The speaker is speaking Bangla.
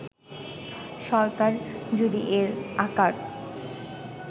সরকার যদি এর আকার